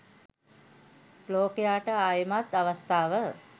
ලෝකයාට ආයෙමත් අවස්ථාව